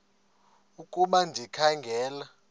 ukuba ndikha ngela